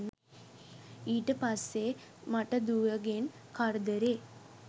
ඊට පස්සෙ මට දුවගෙන් කරදරේ